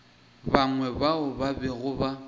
bangwe bao ba bego ba